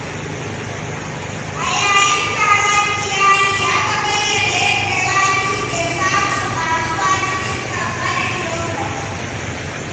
A yayin taron iyali, aka bayyana yadda Rabi’u ke samun ƙaruwa cikin ƙankanin lokaci.